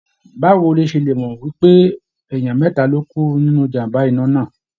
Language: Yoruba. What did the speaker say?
Báwo lo ṣe mọ̀ pé ènìyàn mẹ́ta ló kú nínu ijàm̀bá iná náà?